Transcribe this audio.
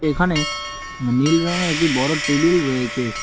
এখানে নীল রঙের একটি বড়ো টেবিল রয়েছে।